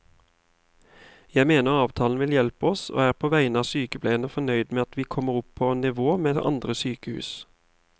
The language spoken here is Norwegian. Jeg mener avtalen vil hjelpe oss og er på vegne av sykepleierne fornøyd med at vi kommer opp på nivå med andre sykehus.